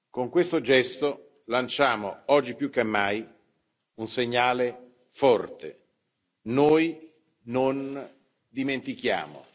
Con questo gesto lanciamo, oggi più che mai, un segnale forte noi non dimentichiamo